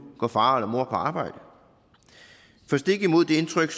går far eller mor på arbejde for stik imod det indtryk